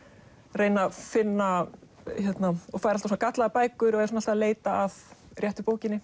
reyna að finna og fær alltaf gallaðar bækur og er alltaf að leita að réttu bókinni